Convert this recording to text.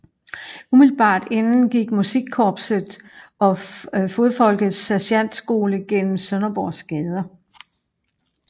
Umiddelbart inden gik Musikkorpset og Fodfolkets Sergentskole gennem Sønderborgs gader